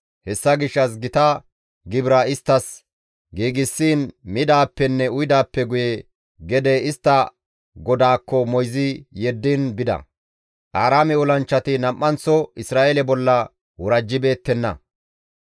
Hessa gishshas gita gibira isttas giigsiin midaappenne uyidaappe guye gede istta godaakko istta moyzi yeddiin bida. Aaraame olanchchati nam7anththo Isra7eele bolla worajjibeettenna.